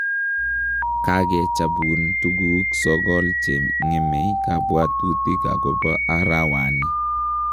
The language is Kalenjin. kage chapuun tugug sogol chengeme kabwatutik agoba arawani